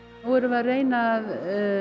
nú erum við að reyna að